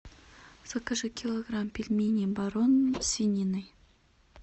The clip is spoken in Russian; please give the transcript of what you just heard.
закажи килограмм пельменей барон со свининой